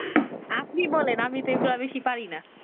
আপনি বলেন আমি এগুলা বেশি পারি না